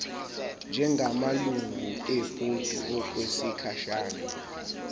njengamalungu ebhodi okwesikhashana